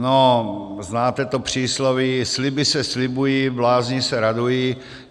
No, znáte to přísloví: Sliby se slibují, blázni se radují.